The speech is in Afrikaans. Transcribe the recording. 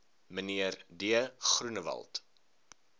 mnr d groenewald